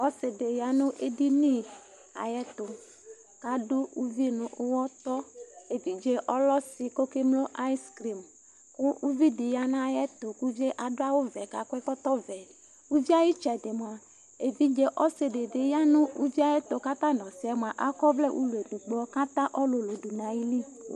ɔsidɩ ya nʊ edini, ayɛtu, kʊ adʊ uvi nʊ uwɔtɔ, evidze yɛ lɛ ɔsi kʊ okemlo ice cream, kʊ uvi dɩ ya nʊ ayɛtu, kʊ uvi yɛ adʊ awu vɛ kʊ akɔ ɛkɔtɔvɛ, uvi yɛ ayu itsɛdɩ mua, evidze ɔsi dɩ bɩ ya, kʊ ɔta nʊ ɔsi yɛ akɔvlɛ ulɔ edigbo kʊ ata ɔlulu dʊ nʊ ayili